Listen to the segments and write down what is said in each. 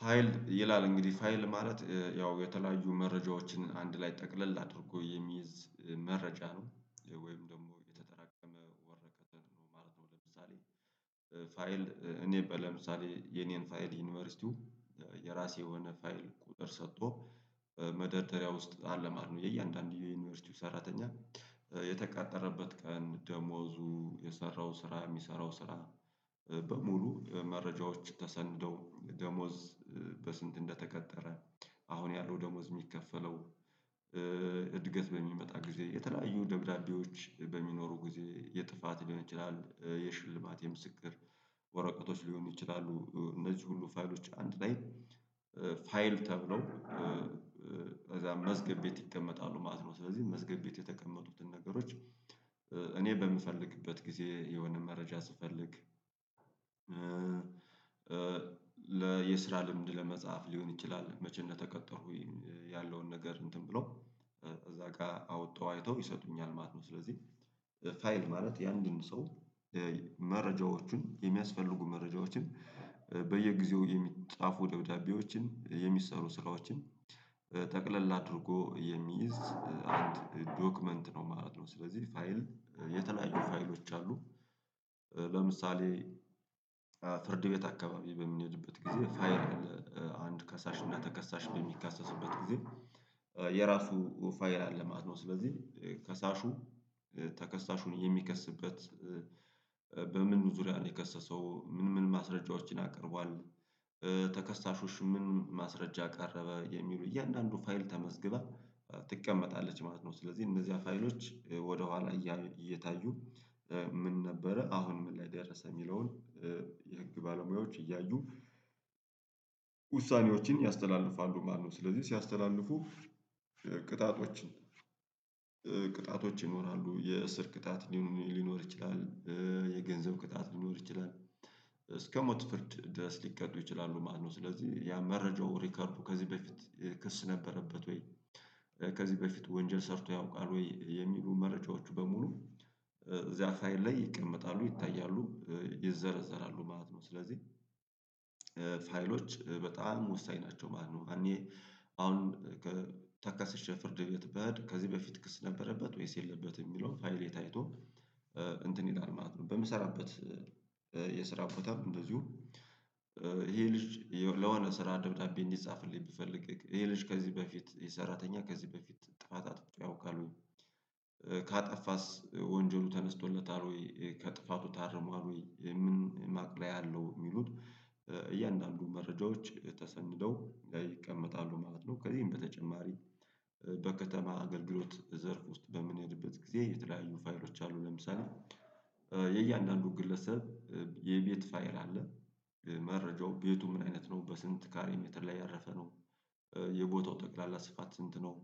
ፋይል ይላል እንግዲህ ፋይል ማለት ያው የተለያዩ መረጃዎችን አንድ ላይ ጠቅለል አድርጎ የሚይዝ መረጃ ነው ወይም ደግሞ የተጠራቀመ ወረቀትን ነው ማለት ነው። ለምሳሌ ፋይል እኔ በ ለምሳሌ የኔን ፋይል ዩኒቨርሲቲው የራሴ የሆነ ፋይል ቁጥር ሰጥቶ መደርደሪያ ውስጥ አለ ማለት ነው። የእያንዳንዱ የዩኒቨርሲቲው ሰራተኛ የተቃጠረበት ቀን ደሞዙ የሰራው ስራ የሚሰራው ስራ። በሙሉ መረጃዎች ተሰንደው ደሞዝ በስንት እንደተቀጠረ አሁን ያለው ደሞዝ የሚከፈለው። እድገት በሚመጣ ጊዜ የተለያዩ ደብዳቤዎች በሚኖሩ ጊዜ የጥፋት ሊሆን ይችላል የሽልማት የምስክር ወረቀቶች ሊሆኑ ይችላሉ እነዚህ ሁሉ ፋይሎች አንድ ላይ ፋይል ተብለው ከዚያ መዝገብ ቤት ይቀመጣሉ ማለት ነው። ስለዚህ መዝገብ ቤት የተቀመጡትን ነገሮች እኔ በምፈልግበት ጊዜ የሆነ መረጃ ስፈልግ ለየስራ ልምድ ለመጽሐፍ ሊሆን ይችላል መቼ እንደተቀጠሩ ያለውን ነገር እንትን ብሎ እዚያ ጋር አውጥተ አይተው ይሰጡኛል ማለት ነው። ስለዚህ ፋይል ማለት የአንድን ሰው መረጃዎቹን የሚያስፈልጉ መረጃዎችን በየጊዜው የሚጻፉ ደብዳቤዎችን የሚሰሩ ስራዎችን ጠቅለል አድርጎ የሚይዝ አንድ ዶክመንት ነው ማለት ነው። ስለዚህ ፋይል የተለያዩ ፋይሎች አሉ ለምሳሌ ፍርድ ቤት አካባቢ በምንሄድበት ጊዜ ፋይል አንድ ከሳሽ እና ተከሳሽ በሚካሰሱበት ጊዜ የራሱ ፋይል አለ ማለት ነው። ስለዚህ ከሳሹ ተከሳሹን የሚከስበት በምን ዙሪያ ነው የከሰሰው ምን ምን ማስረጃዎችን አቅርቧል? ተከሰሾችቹ ምን ማስረጃ አቀረበ የሚሉ እያንዳንዱ ፋይል ተመዝግበ ትቀመጣለች ማለት ነው። ስለዚህ እነዚህ ፋይሎች ወደኋላ እየታዩ ምን ነበረ አሁን ምን ላይ ደረሰ የሚለውን የህግ ባለሙያዎች እያዩ ውሳኔዎችን ያስተላልፋሉ ማለት ነው። ስለዚህ ሲያስተላልፉ ቅጣቶችን ቅጣቶች ይኖራሉ የእስር ቅጣት ሊኖር ይችላል የገንዘብ ቅጣት ሊኖር ይችላል እስከ ሞት ፍርድ ድረስ ሊቀዱ ይችላሉ ማለት ነው። ስለዚህ ያ መረጃው ሪከርዱ ከዚህ በፊት ክስ ነበረበት ወይ ከዚህ በፊት ወንጀል ሰርቶ ያውቃል ወይ የሚሉ መረጃዎቹ በሙሉ ፋይል ላይ ይቀመጣሉ ይታያሉ ይዘረዘራሉ ማለት ነው። ስለዚህ ፋይሎች በጣም ወሳኝ ናቸው ማለት ነው። እኔ አሁን ከ ተከስሼ ፍርድ ቤት ብሄድ ከዚህ በፊት ክስ ነበረበት ወይስ የለበትም የሚለውን ፋይሌ ታይቶ እንትን ይላል ማለት ነው። በምሰራበት የስራ ቦታ እንደዚሁ ይሄ ልጅ ለሆነ ስራ ደብዳቤ እንዲጻፍልኝ ብፈልግ ይሄ ልጅ ከዚህ በፊት የሰራተኛ ከዚህ በፊት ጥፋት አጥፍቶ ያውቃል ወይ ካጠፋስ ወንጀሉ ተነስቶለታል ወይ ከጥፋቱ ታርሟል ወይ ምን ማቅለያ አለው የሚሉት እያንዳንዱን መረጃዎች ተሰንደው ይቀመጣሉ ማለት ነው። ከዚህም በተጨማሪ በከተማ አገልግሎት ዘርፍ ውስጥ በምንሄድበት ጊዜ የተለያዩ ፋይሎች አሉ ለምሳሌ የእያንዳንዱ ግለሰብ የቤት ፋየል አለ መረጃው ቤቱ ምን አይነት ነው በስንት ካሬ ሜትር ላይ ያረፈ ነው የቦታው ጠቅላላ ስፋት ስንት ነው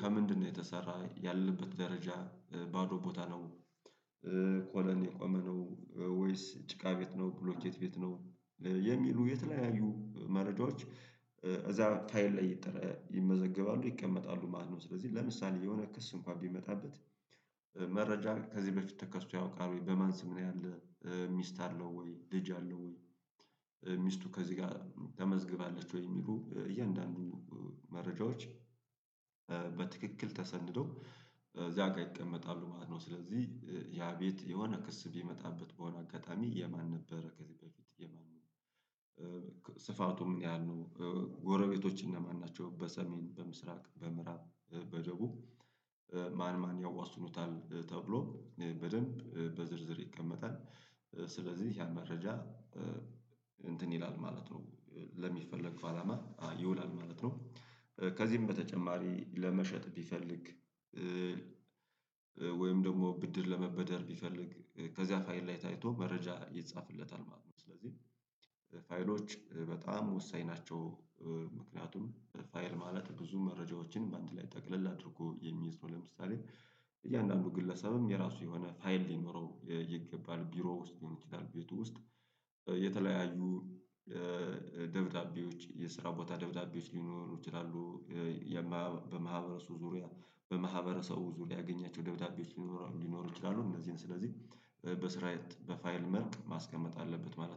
ከምንድነው የተሰራ ያለበት ደረጃ ባዶ ቦታ ነው ኮለን የቆመ ነው ወይስ ጭቃ ቤት ነው ብሎኬት ቤት ነው የሚሉ የተለያዩ መረጃዎች እዚያ ፋይል ላይ ይመዘገባሉ ይቀመጣሉ ማለት ነው። ስለዚህ ለምሳሌ የሆነ ክስ እንኳን ቢመጣበት መረጃ ከዚህ በፊት ተከሶ ያውቃል ወይ በማን ስም ነው ያለ ሚስት አለው ወይ ልጅ አለው ወይ ሚስቱ ከዚህ ጋር ተመዝግባለች ወይ የሚሉ እያንዳንዱ መረጃዎች በትክክል ተሰንደው እዚያ ጋር ይቀመጣሉ ማለት ነው። ስለዚህ ያ ቤት የሆነ ክስ ቢመጣበት በሆነ አጋጣሚ የማን ነበረ ከዚህ በፊት የማን ነው ስፋቱ ምን ያህል ነው ጎረቤቶች እነማን ናቸው በሰሜን በምስራቅ በምዕራብ በደቡብ ማን ማን ያዋስኑታል ተብሎ በደንብ በዝርዝር ይቀመጣል ስለዚህ ያ መረጃ እንትን ይላል ማለት ነው። ለሚፈለግ አላማ ይውላል ማለት ነው ከዚህም በተጨማሪ ለመሸጥ ቢፈልግ ወይም ደግሞ ብድር ለመበደር ቢፈልግ ከዚያ ፋይል ላይ ታይቶ መረጃ ይጻፍለታል ማለት ነው። ስለዚህ ፋይሎች በጣም ወሳኝ ናቸው። ምክንያቱም ፋይል ማለት ብዙ መረጃዎችን በአንድ ላይ ጠቅለል አድርጎ የሚይዝ ነው ለምሳሌ እያንዳንዱ ግለሰብም የራሱ የሆነ ፋይል ሊኖረው ይገባል ቢሮ ውስጥ ሊሆን ይችላል ቤቱ ውስጥ የተለያዩ ደብዳቤዎች የስራ ቦታ ደብዳቤዎች ሊሆኑ ይችላሉ። በማህበረሰቡ ዙሪያ በማህበረሰቡ ዙሪያ ያገኛቸው ደብዳቤዎች ሊኖሩ ሊኖሩ ይችላሉ እንደዚህ ስለዚህ በስራየት በፋይል መልክ ማስቀመጥ አለበት ማለት ነው